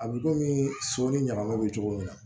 A bɛ komi so ni ɲamanw bɛ cogo min na